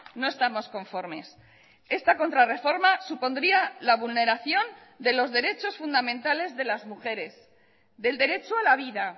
no estamos conformes esta contrarreforma supondría la vulneración de los derechos fundamentales de las mujeres del derecho a la vida